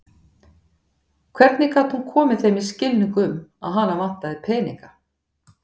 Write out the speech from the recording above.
Hvernig gat hún komið þeim í skilning um að hana vantaði peninga?